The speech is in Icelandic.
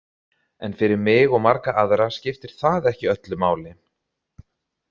En fyrir mig og marga aðra skiptir það ekki öllu máli.